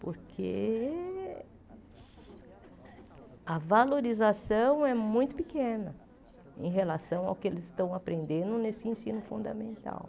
Porque a valorização é muito pequena em relação ao que eles estão aprendendo nesse ensino fundamental.